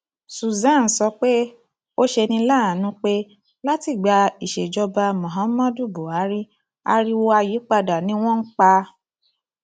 suswan sọ pé ó ṣe ní láàánú pé látìgbà ìsèjoba muhammadu buhari ariwo ayípadà ni wọn pa